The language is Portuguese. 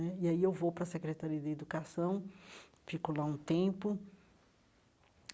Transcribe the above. Né e aí eu vou para a Secretaria de Educação, fico lá um tempo.